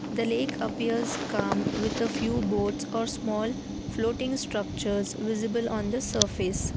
The lake appears calm with a few boats or small floating structures visible on the surface.